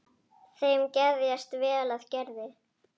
Þeim geðjast vel að Gerði.